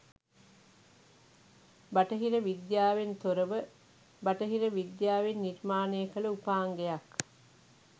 බටහිර විද්‍යාවෙන් තොරව බටහිර විද්‍යාවෙන් නිර්මාණය කල උපාංගයක්